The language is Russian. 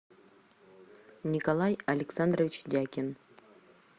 николай александрович дякин